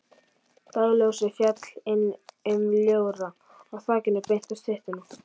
Dagsljósið féll inn um ljóra á þakinu beint á styttuna.